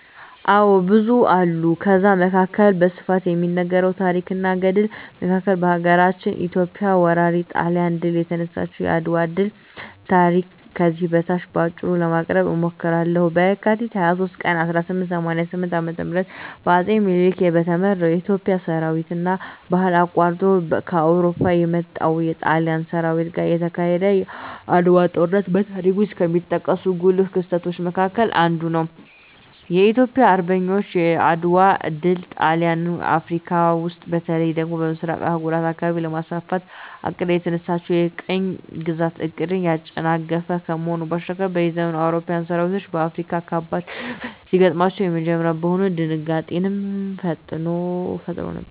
አዎ ብዙ አሉ ከዛ መካከል በስፋት ከሚነገረው ታረክ እና ገድል መካከል ሀገራችን ኢትዮጵያ ወራሪ ጣሊያንን ድል የነሳችበት የአድዋ ድል ታሪክ ከዚህ በታች በአጭሩ ለማቅረብ እሞክራለሁ፦ በካቲት 23 ቀን 1888 ዓ.ም በአጼ ምኒልክ በተመራው የኢትዮጵያ ሠራዊትና ባህር አቋርጦ ከአውሮፓ ከመጣው የጣሊያን ሠራዊት ጋር የተካሄደው የዓድዋው ጦርነት በታሪክ ውስጥ ከሚጠቀሱ ጉልህ ክስተቶች መካከል አንዱ ነው። የኢትዮጵያ አርበኞች የዓድዋ ድል ጣሊያን አፍረካ ውስጥ በተለይ ደግሞ በምሥራቁ የአህጉሪቱ አካባቢ ለማስፋፋት አቅዳ የተነሳችለትን የቅኝ ግዛት ዕቅድን ያጨናገፈ ከመሆኑ ባሻገር፤ በዘመኑ የአውሮፓዊያን ሠራዊት በአፍሪካዊያን ካበድ ሽንፈት ሲገጥመው የመጀመሪያ በመሆኑ ድንጋጤንም ፈጥሮ ነበር።